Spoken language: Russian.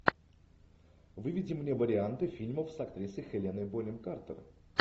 выведи мне варианты фильмов с актрисой хеленой бонем картер